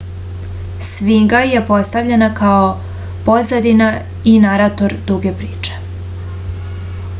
sfinga je postavljena kao pozadina i narator duge priče